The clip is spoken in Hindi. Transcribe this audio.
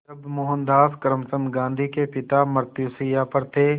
जब मोहनदास करमचंद गांधी के पिता मृत्युशैया पर थे